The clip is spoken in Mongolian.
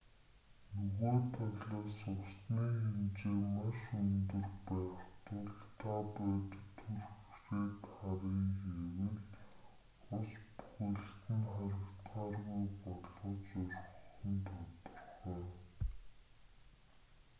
нөгөө талаас усны хэмжээ маш өндөр байх тул та бодит хүрхрээг харъя гэвэл ус бүхэлд нь харагдахааргүй болгож орхих нь тодорхой